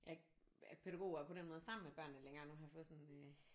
Jeg er ikke pædagog og er på den måde sammen med børnene længere nu har jeg fået sådan